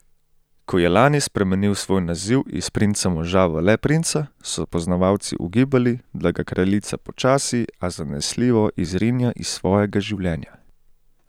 Ko je lani spremenil svoj naziv iz princa moža v le princa, so poznavalci ugibali, da ga kraljica počasi, a zanesljivo izrinja iz svojega življenja.